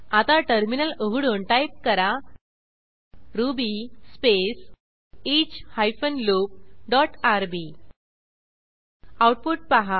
आता टर्मिनल उघडून टाईप करा Ruby space each hyphen loop dot RB output पहा